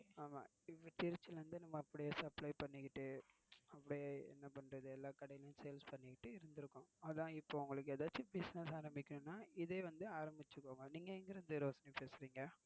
ஆமா இப்போ திருச்சிலிருந்து நம்ம அப்படியே supply பன்னிட்டு அப்படியே என்ன பண்றது எல்லா கடைலயும் sales பன்னிட்டு இருந்துருங்க. அதன் இப்போ உங்களுக்கு ஏதாவது business ஆரம்பிக்கனும்னா இதையே ஆரம்பிச்சிக்குக்கோங்க நீங்க எங்க இருந்து ரோஷினி பேசுறீங்க.